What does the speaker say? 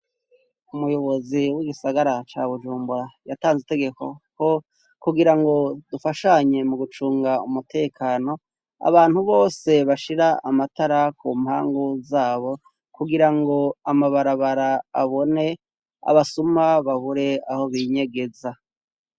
Umuyobozi w'igisagara ca Bujumbura yatanze itegeko ko kugira ngo dufashanye mugucunga umutekano, abantu bose bashira amatara ku mpangu zabo, kugira ngo amabarabara abone, abasuma babure aho binyegeza.